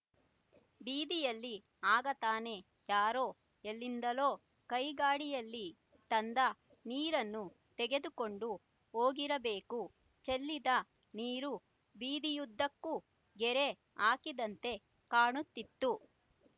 ಬೀದಿಯಲ್ಲಿ ಆಗ ತಾನೇ ಯಾರೋ ಎಲ್ಲಿಂದಲೋ ಕೈಗಾಡಿಯಲ್ಲಿ ತಂದ ನೀರನ್ನು ತೆಗೆದುಕೊಂಡು ಹೋಗಿರಬೇಕು ಚೆಲ್ಲಿದ ನೀರು ಬೀದಿಯುದ್ದಕ್ಕೂ ಗೆರೆ ಹಾಕಿದಂತೆ ಕಾಣುತ್ತಿತ್ತು